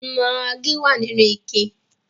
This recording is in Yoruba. Maggi wà nínú ike